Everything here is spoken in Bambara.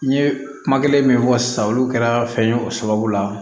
N ye kuma kelen min fɔ sisan olu kɛra fɛn ye o sababu la